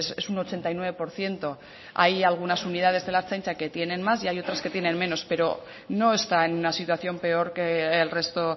es un ochenta y nueve por ciento hay algunas unidades de la ertzaintza que tienen más y hay otras que tienen menos pero no está en una situación peor que el resto